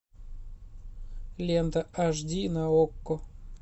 лента аш ди на окко